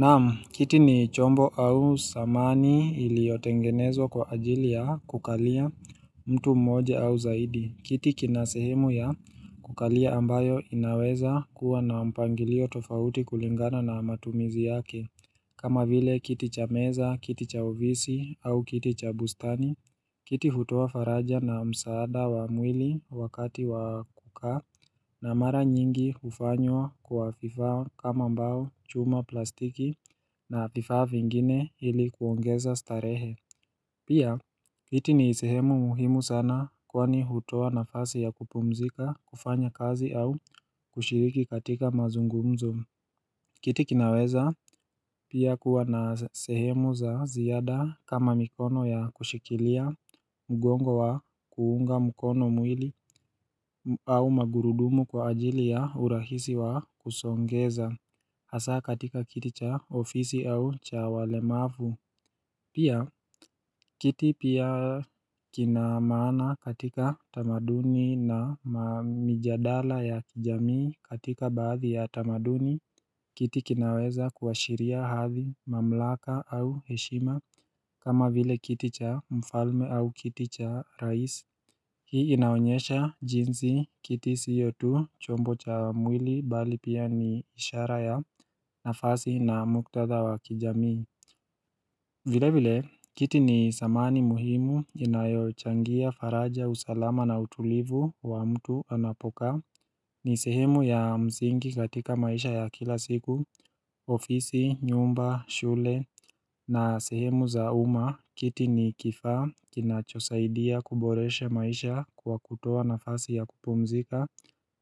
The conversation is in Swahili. Naam, kiti ni chombo au samani iliyotengenezwa kwa ajili ya kukalia mtu mmoja au zaidi. Kitikina sehemu ya kukalia ambayo inaweza kuwa na mpangilio tofauti kulingana na matumizi yake. Kama vile kiti cha meza, kiti cha uvisi au kiti cha bustani. Kiti hutoa faraja na msaada wa mwili wakati wa kukaa na mara nyingi ufanywa kwa vifaa kama mbao chuma plastiki na vifaa vingine hili kuongeza starehe. Pia, kiti ni sehemu muhimu sana kwani hutoa nafasi ya kupumzika, kufanya kazi au kushiriki katika mazungumzo. Kiti kinaweza pia kuwa na sehemu za ziada kama mikono ya kushikilia mgongo wa kuunga mukono mwili au magurudumu kwa ajili ya urahisi wa kusongeza hasa katika kiti cha ofisi au cha walemavu. Pia, kiti pia kinamana katika tamaduni na mijadala ya kijamii katika baadhi ya tamaduni, kiti kinaweza kuashiria hathi mamlaka au heshima kama vile kiti cha mfalme au kiti cha raisi. Hii inaonyesha jinsi kiti siyotu chombo cha mwili bali pia ni ishara ya nafasi na muktada wa kijamii. Vile vile, kiti ni samani muhimu inayo changia faraja usalama na utulivu wa mtu anapokaa. Ni sehemu ya mzingi katika maisha ya kila siku, ofisi, nyumba, shule na sehemu za uma. Kitini kifa, kinachosaidia kuboreshe maisha kwa kutoa na fasi ya kupumzika.